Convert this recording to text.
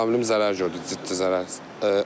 Avtomobilim zərər gördü, ciddi zərər.